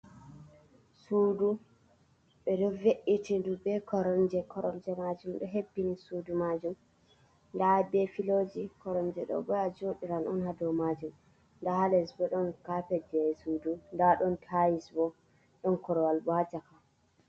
Sudu, ɓe ɗo ve’itindu be koromje. Koromje majum ɗo hebbini sudu majum, nda be filoji, koromje ɗo bo a joɗiran on ha dou maje. Nda ha les bo ɗon kapet jei sudu, nda ɗon tais bo, ɗon korwal bo ha caka.